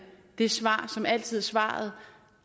det svar som altid er svaret